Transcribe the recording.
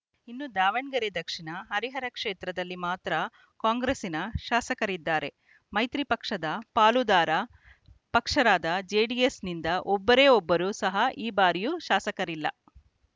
ಇನ್ನು ದಾವಣಗೆರೆ ದಕ್ಷಿಣ ಹರಿಹರ ಕ್ಷೇತ್ರದಲ್ಲಿ ಮಾತ್ರ ಕಾಂಗ್ರೆಸ್ಸಿನ ಶಾಸಕರಿದ್ದಾರೆ ಮೈತ್ರಿ ಪಕ್ಷದ ಪಾಲುದಾರ ಪಕ್ಷವಾದ ಜೆಡಿಎಸ್‌ನಿಂದ ಒಬ್ಬರೇ ಒಬ್ಬರೂ ಸಹ ಈ ಬಾರಿ ಶಾಸಕರಿಲ್ಲ